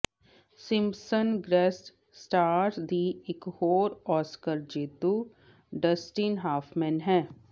Simpson greatest stars ਦੀ ਇਕ ਹੋਰ ਆਸਕਰ ਜੇਤੂ ਡਸਟਿਨ ਹਾਫਮੈਨ ਹੈ